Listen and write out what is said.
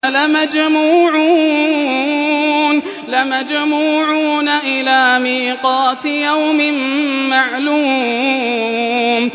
لَمَجْمُوعُونَ إِلَىٰ مِيقَاتِ يَوْمٍ مَّعْلُومٍ